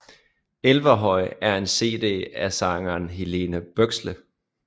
Elverhøy er en cd af sangeren Helene Bøksle